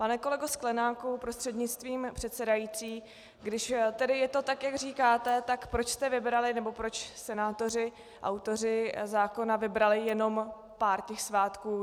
Pane kolego Sklenáku prostřednictvím předsedající, když tedy je to tak, jak říkáte, tak proč jste vybrali, nebo proč senátoři, autoři zákona, vybrali jenom pár těch svátků.